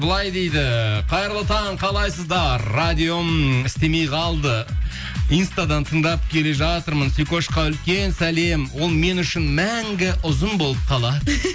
былай дейді қайырлы таң қалайсыздар радиом істемей қалды инстадан тыңдап келе жатырмын сикошқа үлкен сәлем ол мен үшін мәңгі ұзын болып қалады